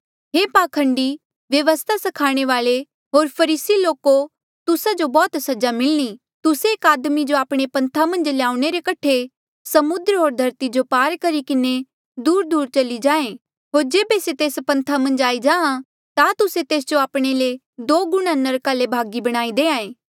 हे पाखंडी व्यवस्था स्खाणे वाल्ऐ होर फरीसी लोको तुस्सा जो बौह्त सजा मिलणी तुस्से एक आदमी जो आपणे पन्था मन्झ ल्याऊणे रे कठे समुद्र होर धरती जो पार करी किन्हें दूरदूर चली जाहें होर जेबे से तेस पन्था मन्झ आई जाहाँ ता तुस्से तेस जो आपणे ले दो गुणा नरका रे भागी बणाई देहां ऐें